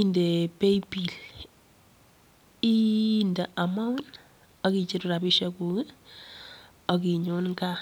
inde paybill inde amount ak icheru rabishekuk ak inyon kaa.